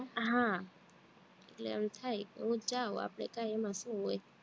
હા એટલે એમ થાય કે નથી જવું આપણે કાઈ એમાં શું હોય